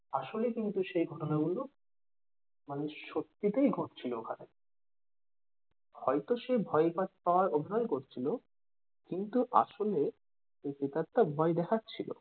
আসলে কিন্তু সে ঘটনা গুলো মানে সত্যিতেই ঘটছিল ওখানে হয়তো সে ভয় পাচ্ পাওয়ার অভিনয় করছিলো কিন্তু আসলে সেই প্রেতাত্মা ভয় দেখাচ্ছিল।